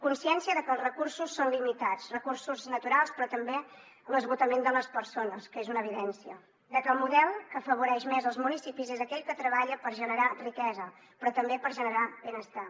consciència de que els recursos són limitats recursos naturals però també l’esgotament de les persones que és una evidència de que el model que afavoreix més els municipis és aquell que treballa per generar riquesa però també per generar benestar